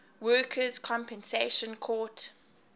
workers compensation court